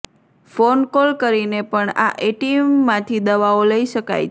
phone call કરીને પણ આ એટીએમમાંથી દવાઓ લઈ શકાય છે